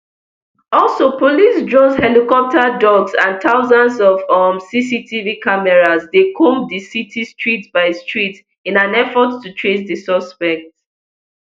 also police drones helicopters dogs and thousands of um cctv cameras dey comb di city street by street in an effort to trace di suspect